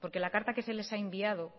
porque la carta que se les ha enviado